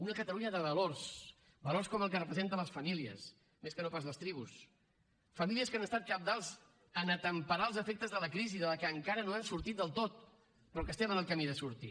una catalunya de valors valors com el que representen les famílies més que no pas les tribus famílies que han estat cabdals en temperar els efectes de la crisi de la qual encara no hem sortit del tot però que estem en el camí de sortir